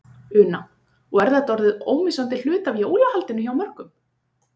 Una: Og er þetta orðið ómissandi hluti af jólahaldinu hjá mörgum?